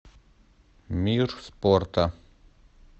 мир спорта